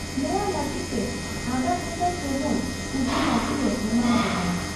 ᱱᱚᱶᱟᱟ ᱞᱟᱹᱜᱤᱫ ᱛᱮ ᱟᱫᱷᱟ ᱜᱷᱟᱱᱴᱟ ᱥᱚᱢᱚᱭ ᱩᱭᱦᱟᱹᱨ ᱞᱟᱹᱜᱤᱫ ᱞᱮ ᱮᱢᱟᱦᱟᱯᱮ ᱠᱟᱱᱟ ᱾